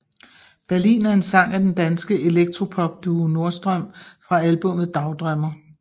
Berlin er en sang af den danske elektropopduo Nordstrøm fra albummet Dagdrømmer